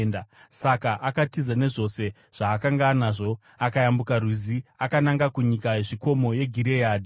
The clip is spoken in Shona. Saka akatiza nezvose zvaakanga anazvo, akayambuka Rwizi akananga kunyika yezvikomo yeGireadhi.